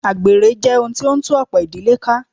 Àgbèrè jẹ́ ohun tí o ń tú ọ̀pọ̀ ìdílé ká.